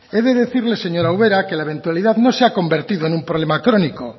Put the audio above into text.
he de decirle señora ubera que la eventualidad no se ha convertido en un problema crónico